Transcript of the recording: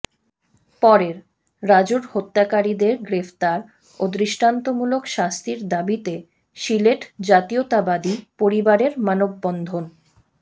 পরেরঃ রাজুর হত্যাকারীদের গ্রেফতার ও দৃষ্টান্তমূলক শাস্তির দাবিতে সিলেট জাতীয়তাবাদী পরিবারের মানববন্ধন